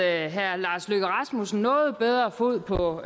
at herre lars løkke rasmussen havde noget bedre fod på